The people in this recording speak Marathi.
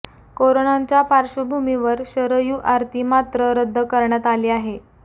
कोरोनांच्या पार्श्वभूमीवर शरयू आरती मात्र रद्द करण्यात आली आहे